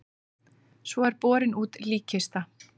Svo er borin út líkkista.